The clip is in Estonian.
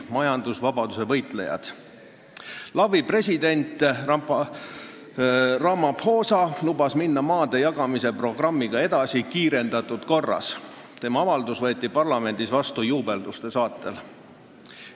LAV-i president Ramaphosa lubas maadejagamise programmiga edasi minna kiirendatud korras, tema avaldus võeti parlamendis vastu juubelduste saatel.